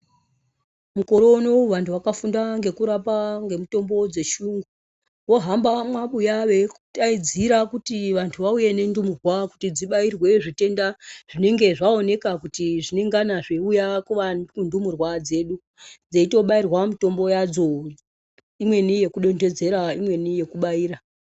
Mukore unowu vanthu vakafunda ngekurapa ngemitombo dzechiyungu vohamba mumwabuya veidaidzira kuti vanthu vauye nendumurwa kuti dzibayirwe zvitenda zvinenge zvaoneka kuti zvinengana zveiuya kundumurwa dzedu. Dzeitobayirwa mitombo yadzo imweni yokudonthedzera imweni yokubayira.